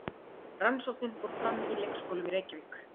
Rannsóknin fór fram í leikskólum í Reykjavík.